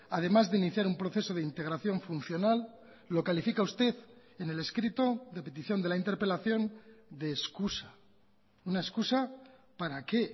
además de iniciar un proceso de integración funcional lo califica usted en el escrito de petición de la interpelación de excusa una excusa para qué